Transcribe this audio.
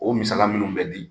O misaliya munnu be di